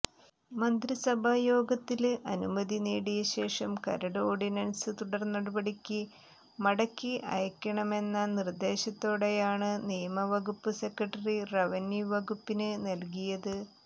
മന്ത്രിസഭായോഗത്തില് അനുമതി നേടിയശേഷം കരട് ഓര്ഡിനന്സ് തുടര്നടപടിക്ക് മടക്കി അയക്കണമെന്ന നിര്ദേശത്തോടെയാണ് നിയമവകുപ്പ് സെക്രട്ടറി റവന്യൂ വകുപ്പിന് നല്കിയത്